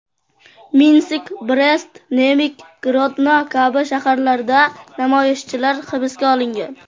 Minsk, Brest, Nemig, Grodno kabi shaharlarda namoyishchilar hibsga olingan.